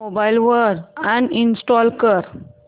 mobile वरून uninstall कर